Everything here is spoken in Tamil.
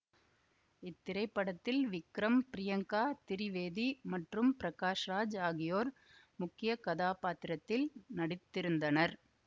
இத்திரைப்படத்தில் விக்ரம் பிரியங்கா திரிவேதி மற்றும் பிரகாஷ் ராஜ் ஆகியோர் முக்கிய கதாப்பாத்திரத்தில் நடித்திருந்தனர்